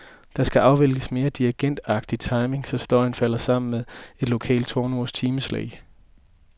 Det skal afvikles med dirigentagtig timing, så støjen falder sammen med et lokalt tårnurs timeslag.